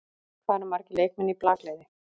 Hvað eru margir leikmenn í blakliði?